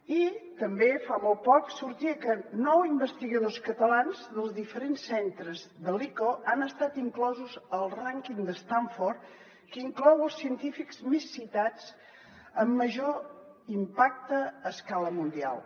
i també fa molt poc sortia que nou investigadors catalans dels diferents centres de l’ico han estat inclosos al rànquing d’stanford que inclou els científics més citats amb major impacte a escala mundial